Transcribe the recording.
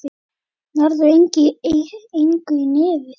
Nærðu engu í nefið þitt.